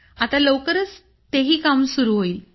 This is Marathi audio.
आता लवकरच तेही काम चालू होईल